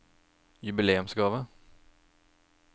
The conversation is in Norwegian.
jubileumsgave